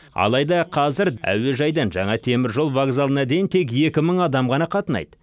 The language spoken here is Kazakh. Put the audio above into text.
алайда қазір әуежайдан жаңа теміржол вокзалына дейін тек екі мың адам ғана қатынайды